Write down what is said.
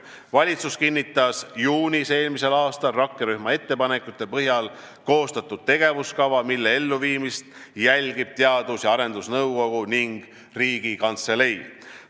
Valitsus kinnitas juunis eelmisel aastal rakkerühma ettepanekute põhjal koostatud tegevuskava, mille elluviimist jälgivad Teadus- ja Arendusnõukogu ning Riigikantselei.